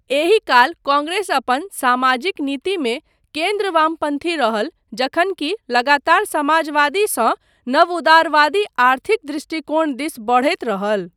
एही काल कांग्रेस अपन सामाजिक नीतिमे केन्द्र वामपन्थी रहल जखन की लगातार समाजवादीसँ नवउदारवादी आर्थिक दृष्टिकोण दिस बढ़ैत रहल।